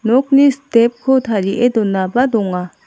nokni step ko tarie donaba donga.